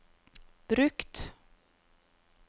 brukt